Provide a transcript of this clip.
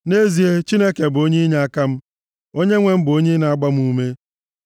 Nʼezie, Chineke bụ onye inyeaka m; onyenwe m bụ onye na-agba m ume.